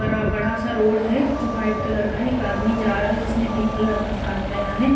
बडा- बड़ा सा रोड है जो व्हाइट कलर का है। एक आदमी जा रहा है जिसने पिंक कलर का शाट पहना है।